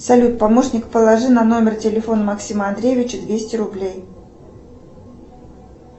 салют помощник положи на номер телефона максима андреевича двести рублей